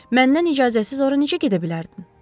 Məndən icazəsiz ora necə gedə bilərdin?